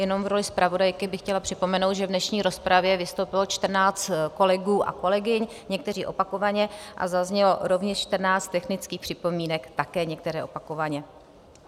Jenom v roli zpravodajky bych chtěla připomenout, že v dnešní rozpravě vystoupilo 14 kolegů a kolegyň, někteří opakovaně, a zaznělo rovněž 14 technických připomínek, také některé opakovaně.